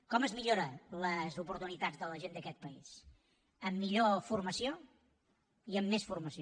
com es milloren les oportunitats de la gent d’aquest país amb millor formació i amb més formació